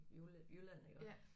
Jylland iggå